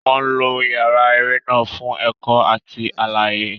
Wọn lo yàrá eré náà fún ẹ̀kọ́ àti àlàyé.